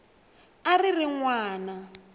a a ri n wana